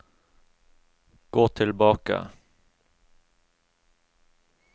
gå tilbake